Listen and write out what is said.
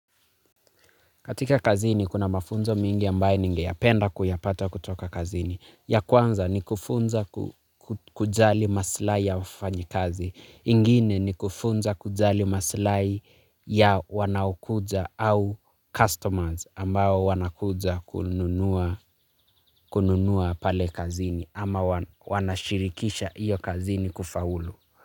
Katika kazini kuna mafunzo mengi ambaye ningeyapenda kuyapata kutoka kazini. Ya kwanza ni kufunza kujali maslhai ya wafanyikazi. Ingine ni kufunza kujali maslahi ya wanaokuja au customers ambao wanakuja kununua pale kazini ama wanashirikisha iyo kazini kufaulu.